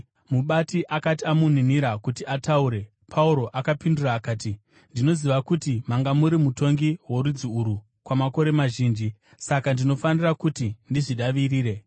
Mubati akati amuninira kuti ataure, Pauro akapindura, akati, “Ndinoziva kuti manga muri mutongi worudzi urwu kwamakore mazhinji; saka ndinofara kuti ndizvidavirire.